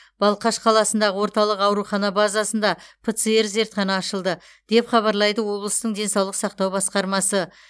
балқаш қаласындағы орталық аурухана базасында птр зертхана ашылды деп хабарлайды облыстың денсаулық сақтау басқармасы